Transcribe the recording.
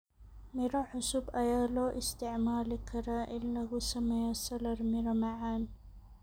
Miro cusub ayaa loo isticmaali karaa in lagu sameeyo salad miro macaan.